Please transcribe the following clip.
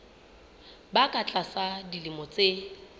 ba ka tlasa dilemo tse